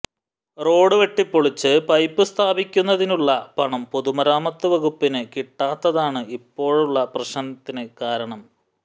road വെട്ടിപ്പൊളിച്ച് pipe സ്ഥാപിക്കുന്നതിനുള്ള പണം പൊതുമരാമത്ത് വകുപ്പിന് കിട്ടാത്തതാണ് ഇപ്പോഴുള്ള പ്രശ്നത്തിന് കാരണം